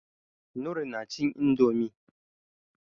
Noor nacin indomie.